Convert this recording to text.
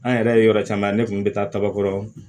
An yɛrɛ ye yɔrɔ caman ne kun bɛ taa kaba kɔrɔ